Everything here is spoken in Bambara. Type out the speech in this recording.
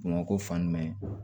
Bamakɔ fan jumɛn